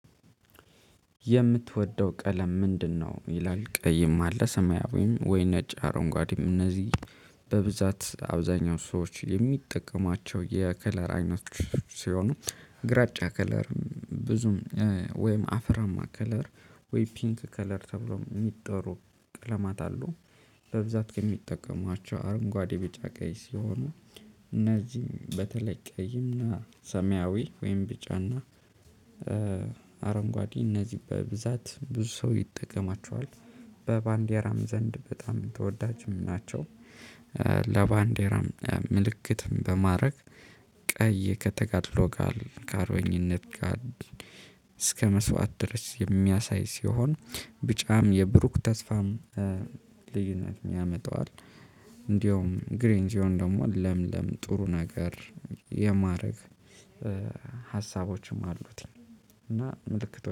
የምትወደው ቀለም ምንድነው? ይላል ቀይም አለ ሰማያዊም ወይ ነጭ አረንጓዴም እነዚህ በብዛት አብዛኛው ሰዎች የሚጠቀማቸው የከለር አይነት ሲሆኑ። ግራጫ ከለር ብዙም ወይም አፈራማ ከለር ወይ ፒንክ ከለር ተብሎ የሚጠሩ ቀለማት አሉ። በብዛት ከሚጠቀሟቸው አረንጓዴ ቢጫ ቀይ ሲሆኑ እነዚህም በተለይ ቀይና ሰሚያዊ ወይም ቢጫና አረንጓዴ እነዚህ በብዛት ብዙ ሰው ይጠቀማቸዋል በባንዲያራም ዘንድ በጣም ተወዳጅም ናቸው። ለባንዴራም ምልክትም በማድረግ ቀይ ከተጋድሎ ጋር ከአርበኝነት ጋር እስከመስዋዕት ድረስ የሚያሳይ ሲሆን። ቢጫም የብሩክ ተስፋም ልዩነት ያመጣዋል። እንደውም ግሪን ሲሆን ደግሞ ለምለም ጥሩ ነገር የማድረግ ሀሳቦችም አሉት። እና ምልክቶች